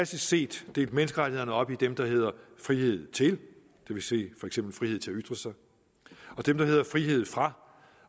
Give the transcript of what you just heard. set delt menneskerettighederne op i dem der hedder frihed til det vil sige for eksempel frihed til at ytre sig og dem der hedder frihed fra